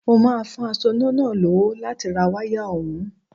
Mo máa fún asoná náà lówó láti ra wáyà ọ̀hún